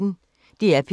DR P1